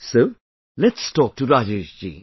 So let's talk to Rajesh ji